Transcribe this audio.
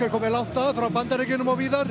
komnir langt að frá Bandaríkjunum og víðar